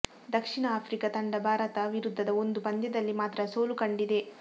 ದಕ್ಷಿಣ Africa ತಂಡ ಭಾರತ ವಿರುದ್ಧದ ಒಂದು ಪಂದ್ಯದಲ್ಲಿ ಮಾತ್ರ ಸೋಲು ಕಂಡಿದೆ